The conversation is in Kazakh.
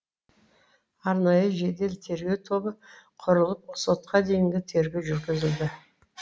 арнайы жедел тергеу тобы құрылып сотқа дейінгі тергеу жүргізілді